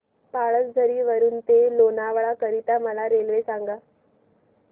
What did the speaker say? पळसधरी वरून ते लोणावळा करीता मला रेल्वे सांगा